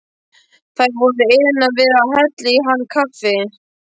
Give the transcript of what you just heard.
Þær voru iðnar við að hella í hann kaffi.